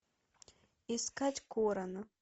искать корона